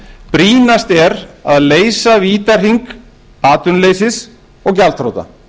brýnast er að leysa vítahring atvinnuleysis og gjaldþrota